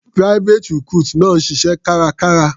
Private recruit náà ń ṣiṣẹ́ kárakára.